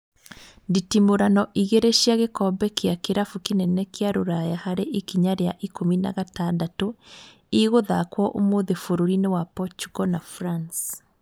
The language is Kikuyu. Nditimũrano igĩrĩ cia gĩkombe gĩa kĩrabu kĩnene kĩa Rũraya harĩ ikinya rĩa ikũmi na gatandatũ igũthakwo ũmũthĩ bũrũri-inĩ wa Portugal na France